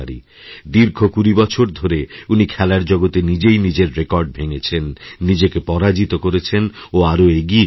দীর্ঘ কুড়ি বছর ধরে উনি খেলারজগতে নিজেই নিজের রেকর্ড ভেঙেছেন নিজেকে পরাজিত করেছেন ও আরও এগিয়ে গেছেন